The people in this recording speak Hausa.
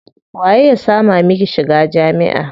Waye ya sama miki shiga jami'a?